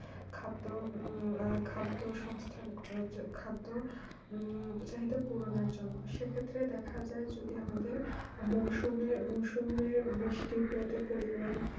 খাদ্য হম খাদ্য সংস্থান করার জন্য খাদ্য হম উৎসাহিত করার জন্য সেই ক্ষেত্রের দেখা যায় যদি আমাদের মৌসুমী মৈসুমির বৃষ্টি পাতের পরিমান